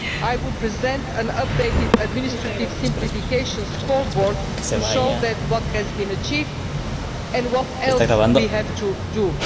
I will present an updated administrative simplification scoreboard to show what has been achieved and what else we have to do.